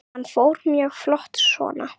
Hann fór mjög fljótt svona.